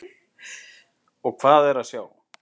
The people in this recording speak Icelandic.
Og hvað er að sjá?